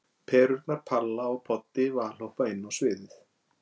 Perurnar Palla og Poddi valhoppa inn á sviðið.